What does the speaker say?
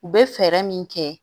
U bɛ fɛɛrɛ min kɛ